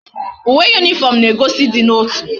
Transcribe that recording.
Uwe uniform na egosi idi na otu